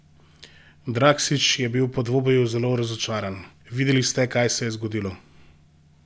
Drakšič je bil po dvoboju zelo razočaran: "Videli ste, kaj se je zgodilo.